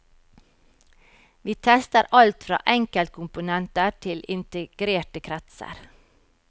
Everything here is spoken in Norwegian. Vi tester alt fra enkeltkomponenter til integrerte kretser.